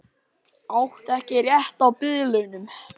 Átti ekki rétt á biðlaunum